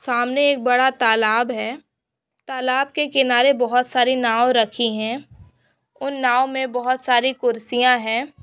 सामने एक बड़ा तालाब है। तालाब के किनारे बहुत सारी नाव रखी है। उन नाव मे बहुत सारी कुर्सियां है।